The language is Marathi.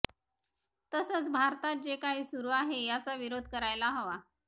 तसंच भारतात जे काही सुरू आहे याचा विरोध करायला हवा